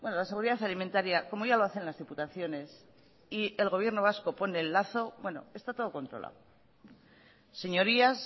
la seguridad alimentaria como ya lo hacen las diputaciones y el gobierno vasco pone el lazo está todo controlado señorías